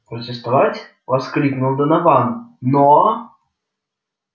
протестовать воскликнул донован но